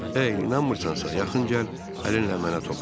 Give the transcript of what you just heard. Ey, inanmırsansa, yaxın gəl, əlinlə mənə toxun.